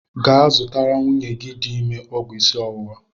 Gaa zụtalụ nwunye gị dị ime ọgwụ isi ọwụwa!